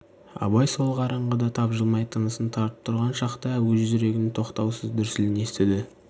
абай сол қараңғыда тапжылмай тынысын тартып тұрған шақта өз жүрегінің тоқтаусыз дүрсілін естіді